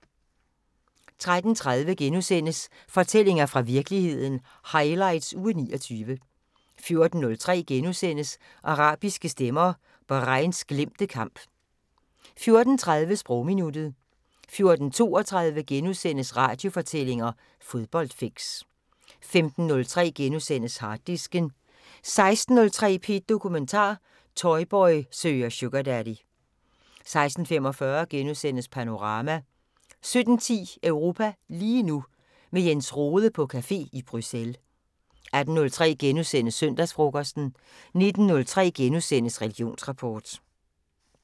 13:30: Fortællinger fra virkeligheden – highlights uge 29 * 14:03: Arabiske stemmer: Bahrains glemte kamp * 14:30: Sprogminuttet 14:32: Radiofortællinger: Fodboldfix * 15:03: Harddisken * 16:03: P1 Dokumentar: Boytoy søger Sugardaddy 16:45: Panorama * 17:10: Europa lige nu: Med Jens Rohde på café i Bruxelles 18:03: Søndagsfrokosten * 19:03: Religionsrapport *